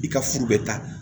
I ka furu bɛ taa